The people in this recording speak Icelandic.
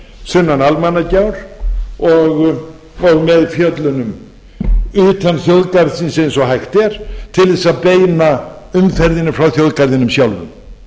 sunnan almannagjár og með fjöllunum utan þjóðgarðsins eins og hægt er til þess að beina umferðinni frá þjóðgarðinum sjálfum